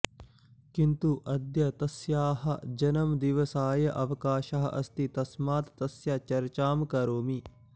किन्तु अद्य तस्याः जन्मदिवसाय अवकाशः अस्ति तस्मात् तस्य चर्चां करोमि